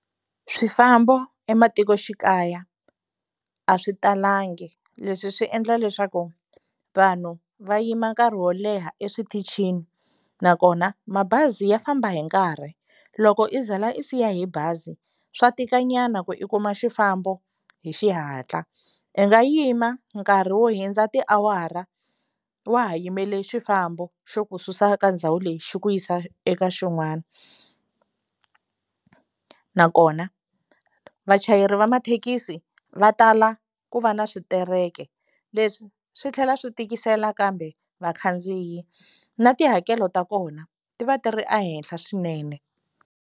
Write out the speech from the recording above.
Swifambo ematikoxikaya a swi talangi leswi swi endla leswaku vanhu va yima nkarhi wo leha eswitichini nakona mabazi ya famba hi nkarhi loko i ze la i siya hi bazi swa tika nyana ku i kuma xifambo hi xihatla i nga yima nkarhi wo hundza tiawara wa ha yimele xifambo xo ku susa ka ndhawu leyi xi ku yisa eka xin'wana nakona vachayeri va mathekisi va tala ku va na switereko se leswi swi tlhela swi tikisela kambe vakhandziyi na tihakelo ta kona ti va tirhi ehenhla swinene.